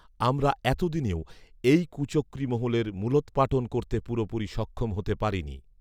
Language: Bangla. আমরা এতদিনেও এই কুচক্রী মহলের মূলৎপাটন করতে পুরোপুরি সক্ষম হতে পারিনি